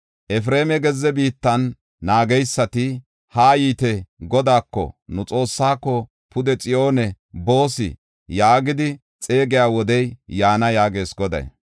Efreema gezze biittan naageysati, ‘Haa yiite; Godaako, nu Xoossaako, pude Xiyoone boos’ yaagidi xeegiya wodey yaana” yaagees Goday.